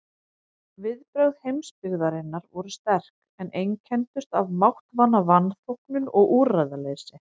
Viðbrögð heimsbyggðarinnar voru sterk, en einkenndust af máttvana vanþóknun og úrræðaleysi.